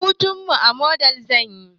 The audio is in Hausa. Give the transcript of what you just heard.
Hutunmu a madibs zamuyi